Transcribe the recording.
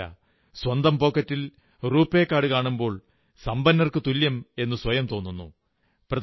ഇത്രമാത്രമല്ല സ്വന്തം പോക്കറ്റിൽ റൂപേ കാർഡു കാണുമ്പോൾ സമ്പന്നർക്കു തുല്യമെന്നു സ്വയം തോന്നുന്നു